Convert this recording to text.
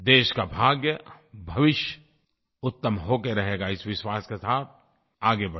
देश का भाग्य भविष्य उत्तम हो के रहेगा इस विश्वास के साथ आगे बढ़ें